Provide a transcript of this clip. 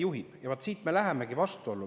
] Ja vot siin me lähemegi vastuollu.